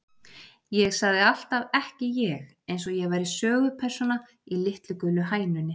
Ég sagði alltaf ekki ég, eins og ég væri sögupersóna í Litlu gulu hænunni.